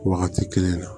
Wagati kelen na